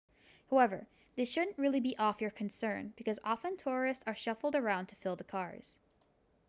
however this shouldn't really be off your concern because often tourists are shuffled around to fill the cars